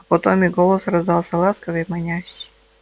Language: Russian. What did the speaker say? а потом и голос раздался ласковый и манящий